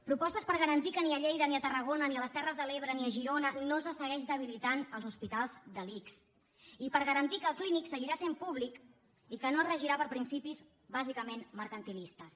propostes per garantir que ni a lleida ni a tarragona i a les terres de l’ebre ni a girona no se segueix debilitant els hospitals de l’ics i per garantir que el clínic seguirà sent públic i que no es regirà per principis bàsicament mercantilistes